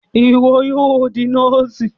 Iwọ yóò di nọọsi!